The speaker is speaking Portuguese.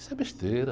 Isso é besteira.